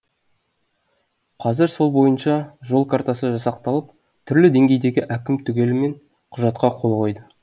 қазір сол бойынша жол картасы жасақталып түрлі деңгейдегі әкім түгелімен құжатқа қол қойды